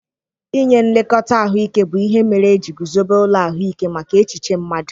Ịnye nlekọta ahụike bụ ihe mere e ji guzobe ụlọ ahụike maka echiche mmadu.